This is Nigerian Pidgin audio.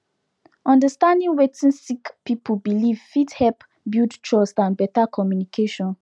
understanding wetin sick person believe fit help build trust and better communication